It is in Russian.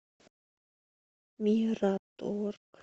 мираторг